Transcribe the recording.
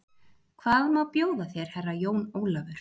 Hvað má bjóða þér Herra Jón Ólafur?